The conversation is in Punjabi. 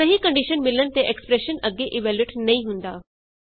ਸਹੀ ਕੰਡੀਸ਼ਨ ਮਿਲਣ ਤੇ ਐਕਸਪਰੈਸ਼ਨ ਅੱਗੇ ਇਵੈਲਯੂਏਟ ਨਹੀਂ ਹੁੰਦਾ